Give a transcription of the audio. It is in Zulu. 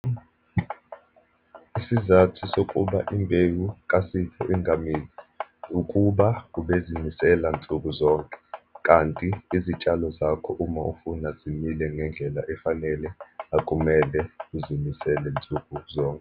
Isizathu sokuba imbewu kaSipho ngamili ukuba ubezinisela nsuku zonke, kanti izitshalo zakho uma ufuna zimile ngendlela efanele akumele uzinisele nsuku zonke.